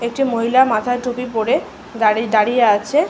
একটি মহিলা মাথায় টুপি পড়ে দাড়ি দাঁড়িয়ে আছে ।